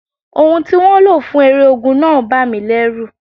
Ohùn tí wọ́n lò fún eré ogun náà bà mí lẹ́rù.